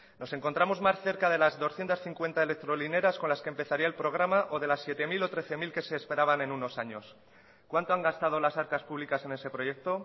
nos encontramos más cerca de las doscientos cincuenta electrolineras con las que empezaría el programa o de las siete mil o trece mil que se esperaban en unos años cuánto han gastado las arcas públicas en ese proyecto